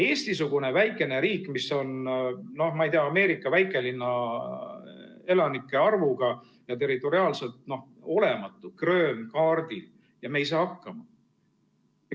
Eesti-sugune väike riik, mis on, no ma ei tea, Ameerika väikelinna elanike arvuga ja territoriaalselt olematu krööm kaardil – ja me ei saa hakkama.